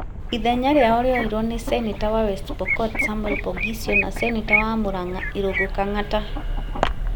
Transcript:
Ithenya rĩao rĩoirwo nĩ seneta wa West Pokot Samuel Poghisio na seneta wa Mũrang’a Irũngũ Kang’ata.